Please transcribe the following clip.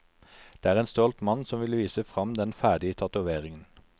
Det er en stolt mann som vil vise fram den ferdige tatoveringen.